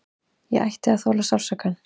Ég ætti að þola sársaukann.